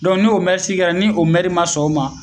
n'o sigi kɛra ni o ma sɔn o ma